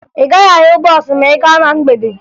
Ị gaghị ahụ bọọsụ ma ị gaa na mgbede